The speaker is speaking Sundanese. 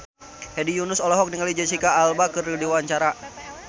Hedi Yunus olohok ningali Jesicca Alba keur diwawancara